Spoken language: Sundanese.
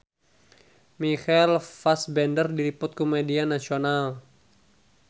Michael Fassbender diliput ku media nasional